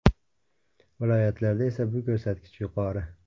Viloyatlarda esa bu ko‘rsatkich yuqori.